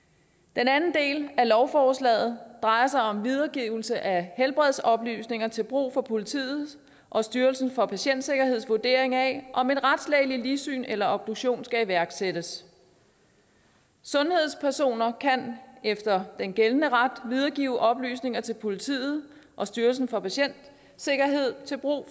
den anden del af lovforslaget drejer sig om videregivelse af helbredsoplysninger til brug for politiet og styrelsen for patientsikkerheds vurdering af om et retslægeligt ligsyn eller en obduktion skal iværksættes sundhedspersoner kan efter gældende ret videregive oplysninger til politiet og styrelsen for patientsikkerhed til brug